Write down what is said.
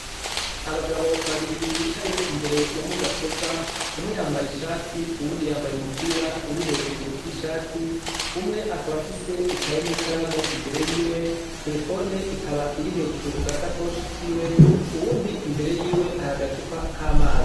Abagabo babiri bicaye imbere ya mudasobwa. Umwe yambaye ishati uwundi yambaye umupira uri hejuru y'ishati. Umwe akaba afise ikaye n'ikaramu imbere yiwe, telefone ikaba iri hejuru ku gasakoshi kiwe. Uwundi imbere yiwe hari agacupa k'amazi.